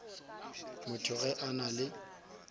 motho ge a na le